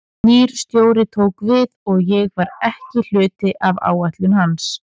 Nýr stjóri tók við og ég var ekki hluti af áætlunum hans.